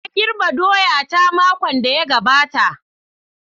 Na girbe doya ta, makon da ya gabata.